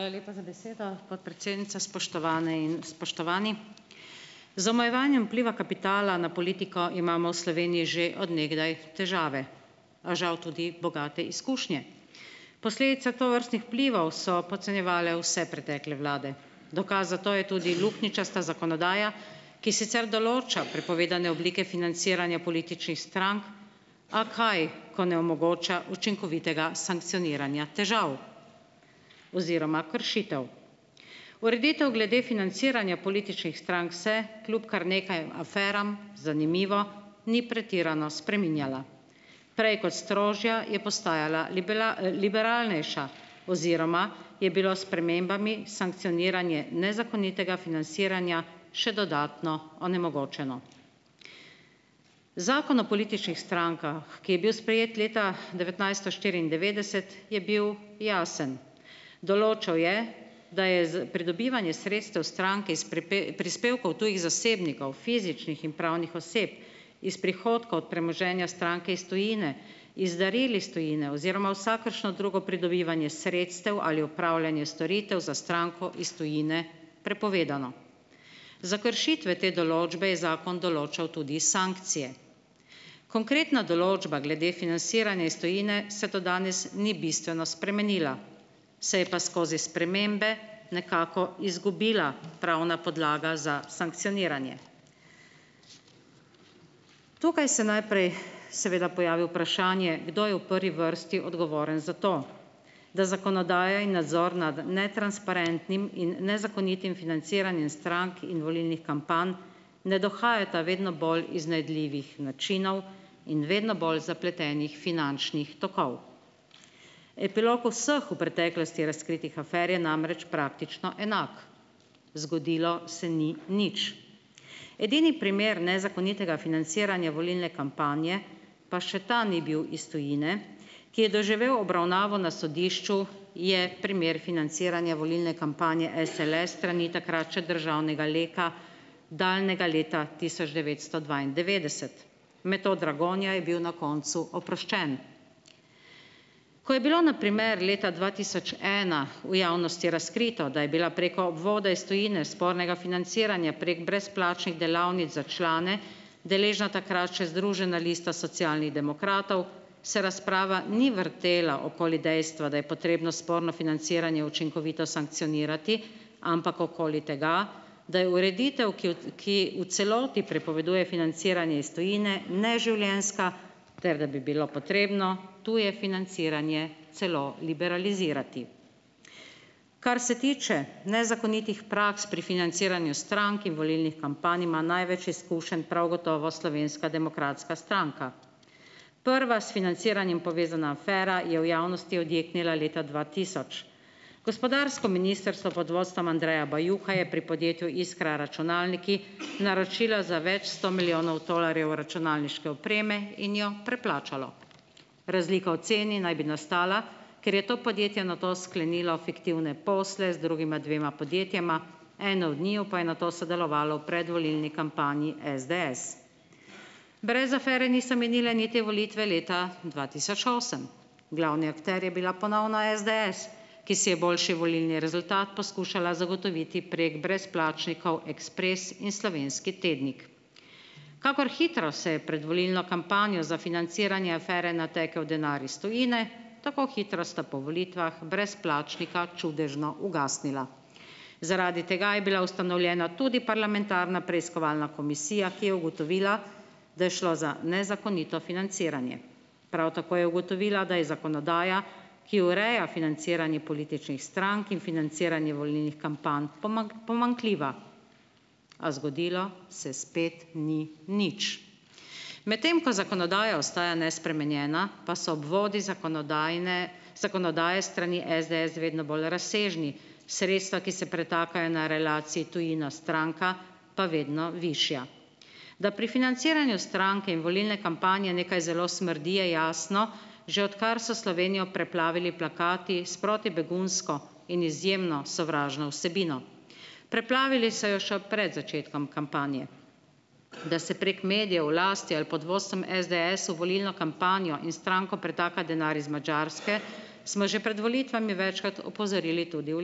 Hvala lepa za besedo. Podpredsednica, spoštovane in spoštovani! Z omejevanjem vpliva kapitala na politiko imamo v Sloveniji že od nekdaj težave. A žal tudi bogate izkušnje. Posledica tovrstnih vplivov so podcenjevale vse pretekle vlade. Dokaz za to je tudi luknjičasta zakonodaja, ki sicer določa prepovedane oblike financiranja političnih strank, a kaj, ko ne omogoča učinkovitega sankcioniranja težav oziroma kršitev. Ureditev glede financiranja političnih strank se kljub kar nekaj aferam, zanimivo, ni pretirano spreminjala. Prej kot strožja, je postajala liberalnejša oziroma je bilo s spremembami sankcioniranje nezakonitega financiranja še dodatno onemogočeno. Zakon o političnih strankah, ki je bil sprejet leta devetnajststo štiriindevetdeset, je bil jasen. Določal je, da je za pridobivanje sredstev stranke iz prispevkov tujih zasebnikov, fizičnih in pravnih oseb, iz prihodkov od premoženja stranke iz tujine, iz daril iz tujine oziroma vsakršno drugo pridobivanje sredstev ali upravljanje storitev za stranko iz tujine prepovedano. Za kršitve te določbe je zakon določal tudi sankcije. Konkretna določba glede financiranja iz tujine se do danes ni bistveno spremenila, se je pa skozi spremembe nekako izgubila pravna podlaga za sankcioniranje. Tukaj se najprej seveda pojavi vprašanje, kdo je v prvi vrsti odgovoren za to, da zakonodaja in nadzor nad netransparentnim in nezakonitim financiranjem strank in volilnih kampanj ne dohajata vedno bolj iznajdljivih načinov in vedno bolj zapletenih finančnih tokov. Epilog vseh v preteklosti razkritih afer je namreč praktično enak. Zgodilo se ni nič. Edini primer nezakonitega financiranja volilne kampanje, pa še ta ni bil iz tujine, ki je doživel obravnavo na sodišču, je primer financiranja volilne kampanje SLS s strani takrat še državnega Leka, daljnega leta tisoč devetsto dvaindevetdeset. Metod Dragonja je bil na koncu oproščen. Ko je bilo na primer leta dva tisoč ena v javnosti razkrito, da je bila preko obvoda iz tujine spornega financiranja prek brezplačnih delavnic za člane deležna takrat še Združena lista socialnih demokratov, se razprava ni vrtela okoli dejstva, da je potrebno sporno financiranje učinkovito sankcionirati, ampak okoli tega, da je ureditev, ki v, ki v celoti prepoveduje financiranje iz tujine neživljenjska, ter da bi bilo potrebno tuje financiranje celo liberalizirati. Kar se tiče nezakonitih praks pri financiranju strank in volilnih kampanj, ima največ izkušenj prav gotovo Slovenska demokratska stranka. Prva s financiranjem povezana afera je v javnosti odjeknila leta dva tisoč. Gospodarsko ministrstvo pod vodstvom Andreja Bajuka je pri podjetju Iskra računalniki naročila za več sto milijonov tolarjev računalniške opreme in jo preplačalo. Razlika v ceni naj bi nastala, ker je to podjetje nato sklenilo fiktivne posle z drugima dvema podjetjema, eno od njiju pa je nato sodelovalo v predvolilni kampanji SDS. Brez afere niso minile niti volitve leta dva tisoč osem. Glavni akter je bila ponovno SDS, ki si je boljši volilni rezultat poskušala zagotoviti prek brezplačnikov Ekspres in Slovenski tednik. Kakor hitro se je pred volilno kampanjo za financiranje afere natekel denar iz tujine, tako hitro sta po volitvah brezplačnika čudežno ugasnila. Zaradi tega je bila ustanovljena tudi parlamentarna preiskovalna komisija, ki je ugotovila, da je šlo za nezakonito financiranje. Prav tako je ugotovila, da je zakonodaja, ki ureja financiranje političnih strank in financiranje volilnih kampanj pomanjkljiva, a zgodilo se spet ni nič. Medtem ko zakonodaja ostaja nespremenjena, pa so obvodi zakonodajne zakonodaje s strani SDS vedno bolj razsežni. Sredstva, ki se pretakajo na relaciji tujina-stranka, pa vedno višja, da pri financiranju stranke in volilne kampanje nekaj zelo smrdi, je jasno že odkar so Slovenijo preplavili plakati s protibegunsko in izjemno sovražno vsebino. Preplavili so jo še pred začetkom kampanje, da se prek medijev v lasti ali pod vodstvom SDS v volilno kampanjo in stranko pretaka denar iz Madžarske, smo že pred volitvami večkrat opozorili tudi v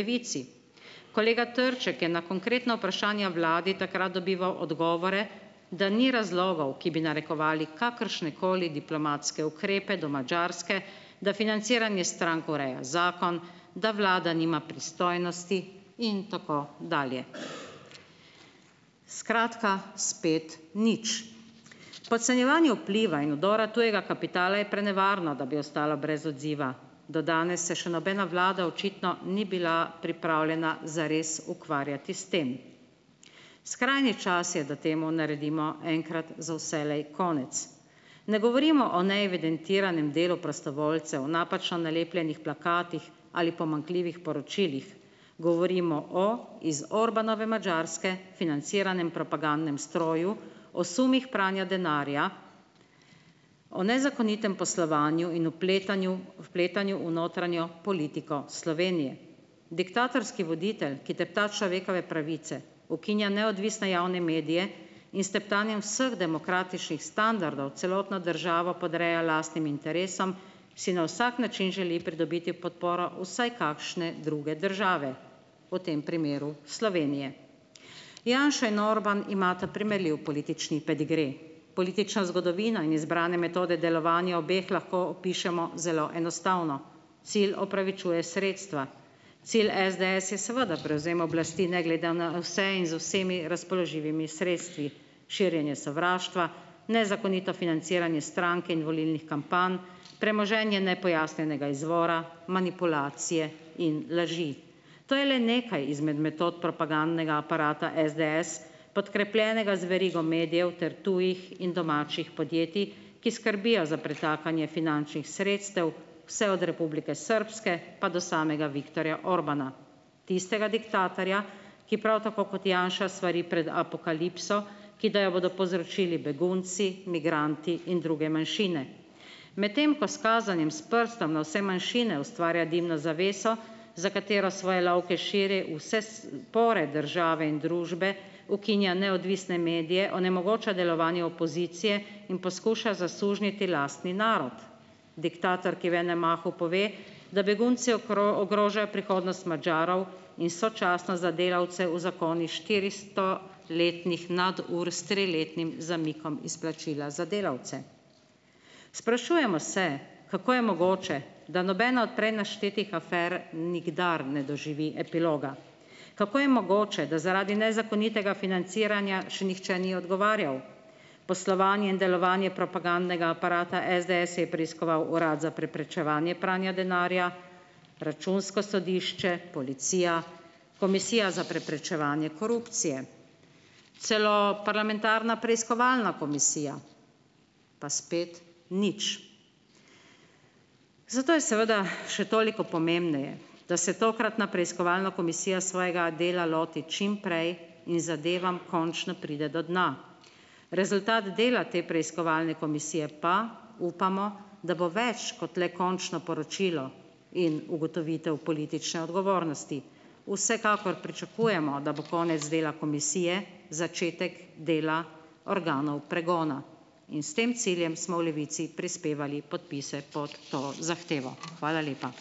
Levici. Kolega Trček je na konkretna vprašanja vladi takrat dobival odgovore, da ni razlogov, ki bi narekovali kakršnekoli diplomatske ukrepe do Madžarske, da financiranje strank ureja zakon, da vlada nima pristojnosti in tako dalje. Skratka, spet nič. Podcenjevanje vpliva in vdora tujega kapitala je prenevarno, da bi ostalo brez odziva, do danes se še nobena vlada očitno ni bila pripravljena zares ukvarjati s tem. Skrajni čas je, da temu naredimo enkrat za vselej konec. Ne govorimo o neevidentiranem delu prostovoljcev, napačno nalepljenih plakatih ali pomanjkljivih poročilih, govorimo o iz Orbánove Madžarske financiranem propagandnem stroju, o sumih pranja denarja, o nezakonitem poslovanju in vpletanju, vpletanju v notranjo politiko Slovenije. Diktatorski voditelj, ki tepta človekove pravice, ukinja neodvisne javne medije in s teptanjem vseh demokratičnih standardov celotno državo podreja lastnim interesom, si na vsak način želi pridobiti podporo vsaj kakšne druge države, v tem primeru Slovenije. Janša in Orbán imata primerljiv politični pedigre. Politična zgodovina in izbrane metode delovanja obeh lahko opišemo zelo enostavno, cilj opravičuje sredstva, cilj SDS je seveda prevzem oblasti ne glede na vse in z vsemi razpoložljivimi sredstvi, širjenje sovraštva, nezakonito financiranje strank in volilnih kampanj, premoženje nepojasnjenega izvora, manipulacije in laži. To je le nekaj izmed metod propagandnega aparata SDS, podkrepljenega z verigo medijev ter tujih in domačih podjetij, ki skrbijo za pretakanje finančnih sredstev vse od Republike Srbske pa do samega Viktorja Orbána, tistega diktatorja, ki prav tako kot Janša svari pred apokalipso, ki da jo bodo povzročili begunci, migranti in druge manjšine. Medtem pa s kazanjem s prstom na vse manjšine ustvarja dimno zaveso, za katero svoje lovke širi v vse pore države in družbe, ukinja neodvisne medije, onemogoča delovanje opozicije in poskuša zasužnjiti lastni narod. Diktator, ki v enem mahu pove, da begunci ogrožajo prihodnost Madžarov in sočasno za delavce uzakoni štiristo letnih nadur s triletnim zamikom izplačila za delavce. Sprašujemo se, kako je mogoče, da nobena od prej naštetih afer nikdar ne doživi epiloga, kako je mogoče, da zaradi nezakonitega financiranja še nihče ni odgovarjal. Poslovanje in delovanje propagandnega aparata SDS je preiskoval Urad za preprečevanje pranja denarja, Računsko sodišče, policija, Komisija za preprečevanje korupcije. Celo parlamentarna preiskovalna komisija pa spet nič. Zato je seveda še toliko pomembneje, da se tokratna preiskovalna komisija svojega dela loti čim prej in zadevam končno pride do dna. Rezultat dela te preiskovalne komisije pa upamo, da bo več kot le končno poročilo in ugotovitev politične odgovornosti. Vsekakor pričakujemo, da bo konec dela komisije začetek dela organov pregona in s tem ciljem smo v Levici prispevali podpise pod to zahtevo. Hvala lepa.